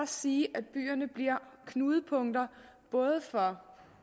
sige at byerne bliver knudepunkter for